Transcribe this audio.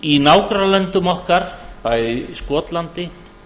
í nágrannalöndum okkar bæði skotlandi